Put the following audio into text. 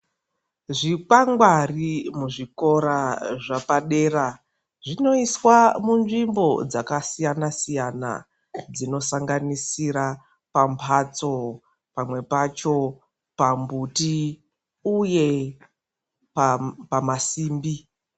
Zvikwangwari muzvikora zvapadera zvinoiswa munzvimbo dzakasiyana-siyana dzinosanganisira pambatso, pamwe pacho pambuti uye pamasimbi.